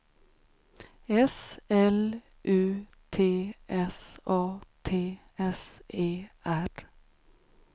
S L U T S A T S E R